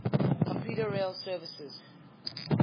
commuter rail services